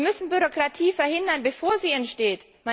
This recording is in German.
Wir müssen Bürokratie verhindern, bevor sie entsteht.